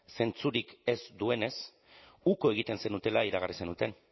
zentzurik ez duenez uko egiten zenutela iragarri zenuten